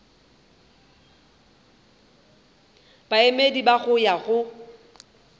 baemedi ba go ya go